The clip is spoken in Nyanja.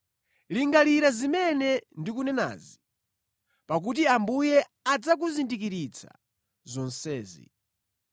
Lingalira zimene ndikunenazi, pakuti Ambuye adzakuzindikiritsa zonsezi.